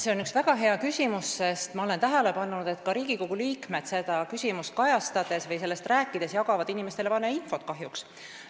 See on väga hea küsimus, sest ma olen tähele pannud, et ka Riigikogu liikmed jagavad seda teemat kajastades või sellest rääkides inimestele valeinfot, kahjuks.